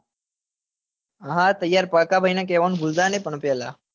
હા હા તૈયાર પણ પાડકા ભાઈ ને કેવાનું ભૂલતા નઈ પણ પેલા